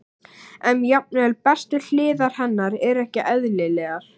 En jafnvel bestu hliðar hennar eru ekki eðlilegar.